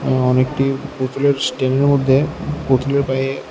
আঃ অনেকটি পুতুলের মধ্যে পুলের পায়ে--